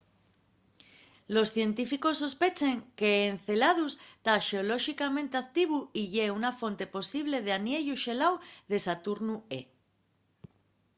los científicos sospechen qu'enceladus ta xeolóxicamente activu y ye una fonte posible del aniellu xeláu de saturnu e